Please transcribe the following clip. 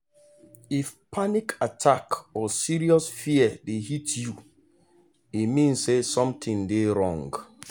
if panic attack or serious fear dey hit you e mean say something dey wrong.